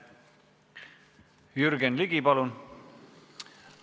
Jürgen Ligi, palun!